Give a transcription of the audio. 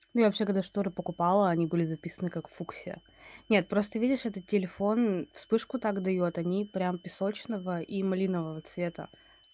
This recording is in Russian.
ну я вообще когда шторы покупала они были записаны как фуксия нет просто видишь этот телефон вспышку так даёт они прям песочного и малинового цвета